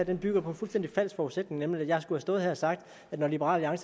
her bygger på en fuldstændig falsk forudsætning nemlig at jeg skulle have stået her og sagt at når liberal